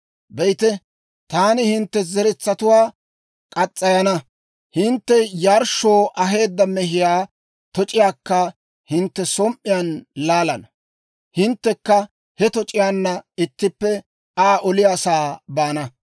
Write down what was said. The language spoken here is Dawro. Be'ite, taani hintte zeretsatuwaa murana. Hintte yarshshoo aheedda mehiyaa toc'iyaakka hintte som"iyaan laalana; hinttekka he toc'iyaanna ittippe Aa oliyaa sa'aa baana.